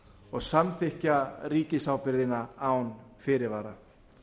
og samþykkja ríkisábyrgðina án fyrirvara